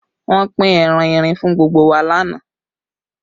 Wọ́n pín ẹran erin fún gbogbo wa lánàá